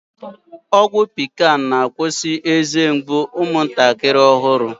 Ọgwụ pikan na-akwusi eze mgbu umụntakịrị ọhụrụ